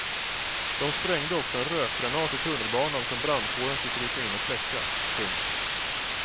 De sprängde också en rökgranat i tunnelbanan som brandkåren fick rycka in och släcka. punkt